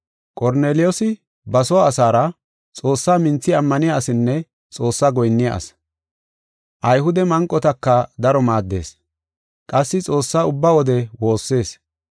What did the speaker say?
Qorneliyoosi ba soo asaara Xoossaa minthi ammaniya asinne Xoossaa goyinniya asi. Ayhude manqotaka daro maaddees, qassi Xoossaa ubba wode woossees.